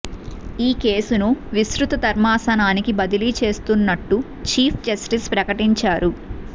ఈ కేసును విస్తృత ధర్మాసనానికి బదిలీ చేస్తున్నట్టు చీఫ్ జస్టిస్ ప్రకటించారు